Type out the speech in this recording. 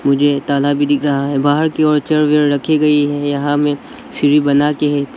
मुझे ताला भी दिख रहा है बाहर की ओर रखी गई है यहां में सीढ़ी बनाके है पी--